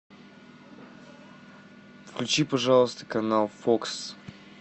включи пожалуйста канал фокс